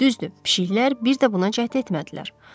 Düzdür, pişiklər bir də buna cəhd etmədilər.